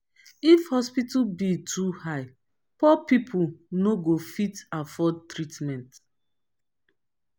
if hospital bill too high poor pipo no go fit afford treatment.